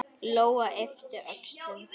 Lóa yppti öxlum.